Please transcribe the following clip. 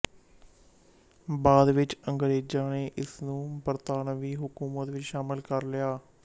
ਬਾਅਦ ਵਿੱਚ ਅੰਗਰੇਜ਼ਾਂ ਨੇ ਇਸ ਨੂੰ ਬਰਤਾਨਵੀਂ ਹਕੂਮਤ ਵਿੱਚ ਸ਼ਾਮਲ ਕਰ ਲਿਆ